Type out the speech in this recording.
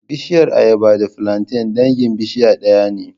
Bishiyar ayaba da filanten dangin bishiya ɗaya ne